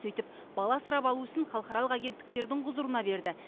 сөйтіп бала асырап алу ісін халықаралық агенттіктердің құзырына берді